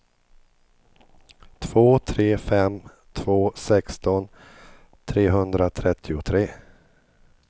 två tre fem två sexton trehundratrettiotre